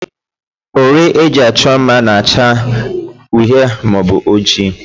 Uri e ji achọ mma na-acha uhie maọbụ ojii